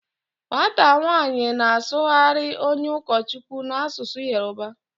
Nwata nwanyi na-asughari onye ukochukwu n'asusu Yoruba